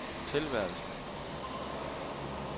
tilværelsen